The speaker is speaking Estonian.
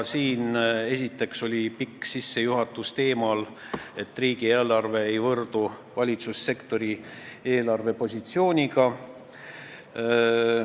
Esiteks oli pikk sissejuhatus teemal, et riigieelarve ei võrdu valitsussektori eelarvepositsiooniga.